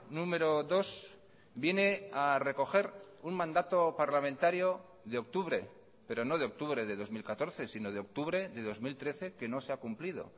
número dos viene a recoger un mandato parlamentario de octubre pero no de octubre de dos mil catorce sino de octubre de dos mil trece que no se ha cumplido